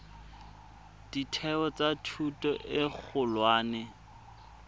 ditheo tsa thuto e kgolwane